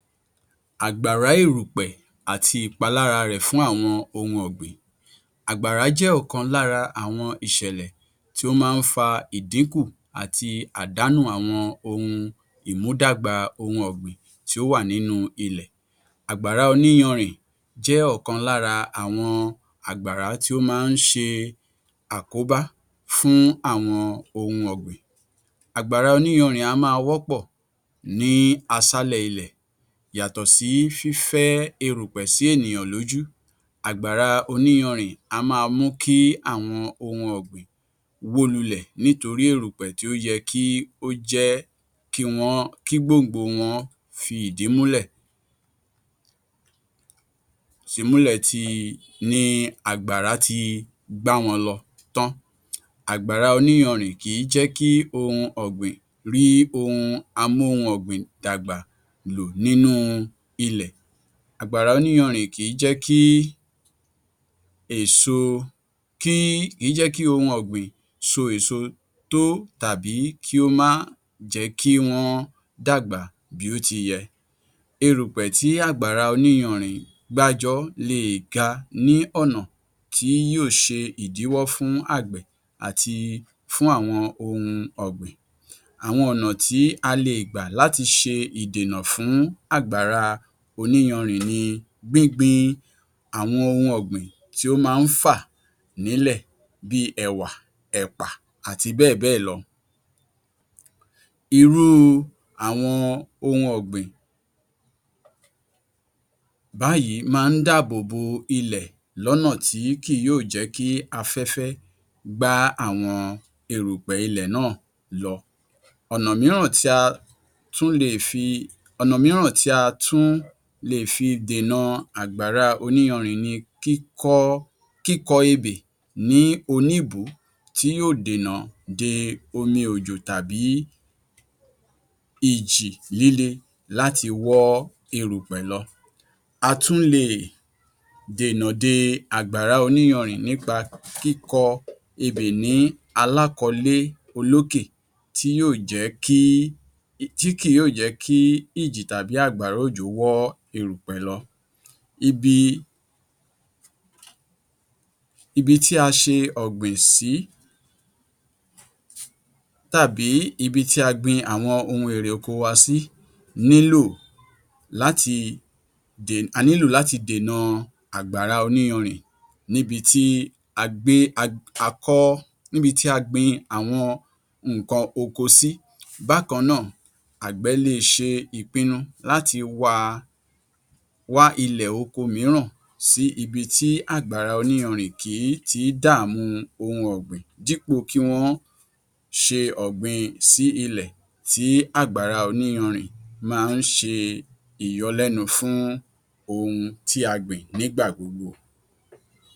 Àgbàrá èrùpẹ̀ àti ìpalára rẹ̀ fún àwọn ohun ọ̀gbìn. Àgbàrá jẹ́ ọ̀kan lára àwọn ìṣẹ̀lẹ̀ tí ó máa ń fa ìdínkù àti àdánù àwọn ohun ìmúdàgbà ohun ọ̀gbìn tí ó wà nínú ilẹ̀. Àgbàrá oníyanrìn jẹ́ ọkan lára àwọn àgbàrá tí ó máa ń ṣe àkóbá fún àwọn ohun ọ̀gbìn. Àgbàrá oníyanrìn á máa wọ́pọ̀ ní aṣálẹ̀ ilẹ̀, yàtọ̀ sí fífẹ́ erùpẹ̀ sí ènìyàn lójú, àgbàrá oníyanrìn á máa mú kí àwọn ohun ọ̀gbìn wó lulẹ̀ nítorí èrùpẹ̀ tí ó yẹ kí ó jẹ́ kí gbòǹgbò wọn fi ìdí múlẹ̀ ni àgbàrá ti gbá wọn lọ tán, àgbàrá oníyanrìn kìí jẹ́ kí ohun ọ̀gbìn rí ohun amóhun ọ̀gbìn dàgbà lò nínú ilẹ̀, àgbàrá oníyanrìn kìí jẹ́ kí ohun ọ̀gbìn so èso tó tàbí kí ó má jẹ́ kí wọ́n dàgbà bí ó ti yẹ. Erùpẹ̀ tí àgbàrá oníyanrìn gbájọ le è ga ní ọ̀nà tí yóò ṣe ìdíwọ́ fún àgbẹ̀ àti fún àwọn ohun ọ̀gbìn. Àwọn ọ̀nà tí a le è gbà láti ṣe ìdènà fún àgbàrá oníyanrìn ni; gbíngbin àwọn ohun ọ̀gbìn tí ó máa ń fà nílẹ̀ bí i ẹ̀wà, ẹ̀pà àti bẹ́ẹ̀ bẹ́ẹ̀ lọ. Irú àwọn ohun ọ̀gbìn báyìí máa ń dábòbò ilẹ̀ lọ́nà tí kìí yóò jẹ́ kí afẹ́fẹ́ gbá àwọn erùpẹ̀ ilẹ̀ náà lọ. Ọ̀nà mìíràn tí a tún le è fi dènà àgbàrá oníyanrìn ni kíkọ ebè ní oníbùú tí yóò dènà de omi òjò tàbí ìjì líle láti wọ́ erùpẹ̀ lọ. A tún le è dèna de àgbàrá oníyanrìn nípa kíkọ ebè ní alákọ̀ọ́lé olókè tí kì yóò jẹ́ kí ìjì tàbí àgbàrá òjò wọ́ ilẹ̀ èrùpẹ̀ lọ. Ibi tí a ṣe ọ̀gbìn sí tàbí ibi tí a gbin àwọn ohun erè oko wa sí nílò láti dènà àgbàrá oníyanrìn níbi tí a gbin àwọn nǹkan oko sí. Bákan náà, àgbè, le è ṣe ìpinnu láti wá ilẹ̀ oko mìíràn sí ibi tí àgbàrá oníyanrìn kìí ti dàmú ohun ọ̀gbìn dípò kí wọ́n ṣe ọ̀gbìn sí orí ilẹ̀ tí àgbàrá oníyanrìn máa ń ṣe ìyọlẹ́nu fún ohun tí a gbìn nígbà gbogbo.